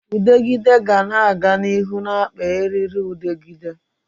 Udegịde ga-aga n'ihu na-akpa eririudegide